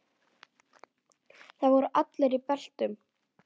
Þar voru allir í beltum.